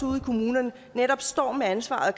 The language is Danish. ude i kommunerne netop stå med ansvaret